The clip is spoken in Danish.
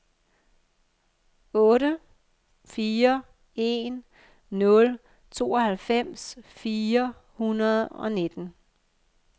otte fire en nul tooghalvfems fire hundrede og nitten